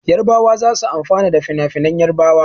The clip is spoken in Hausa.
Yarbawa za su amfana da finafinan Yarbawa.